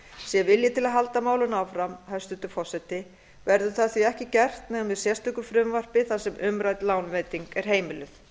sé vilji til að halda málinu áfram hæstvirtur forseti verður það því ekki gert nema með sérstöku frumvarpi þar sem umrædd lánveiting er heimiluð